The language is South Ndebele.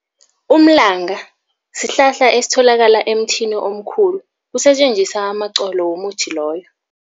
Umlanga sihlahla esitholakala emthini omkhulu, kusetjenziswa amaqolo womuthi loyo.